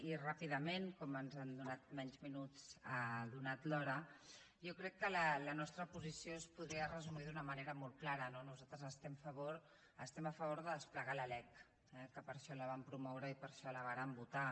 i ràpidament perquè ens han donat menys minuts atesa l’hora jo crec que la nostra posició es podria resumir d’una manera molt clara no nosaltres estem a favor de desplegar la lec eh que per això la vam promoure i per això la vam votar